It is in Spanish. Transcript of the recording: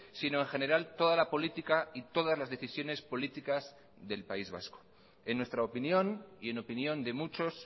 sino en general toda la política y todas las decisiones políticas del país vasco en nuestra opinión y en opinión de muchos